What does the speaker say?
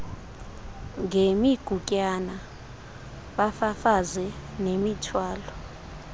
ngemigutyana bafafaze nemithwalo